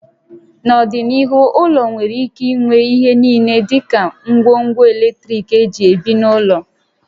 N'ọdịnihu, ụlọ nwere ike inwe ihe niile dị ka ngwongwo eletrik éjị ebi n'ụlọ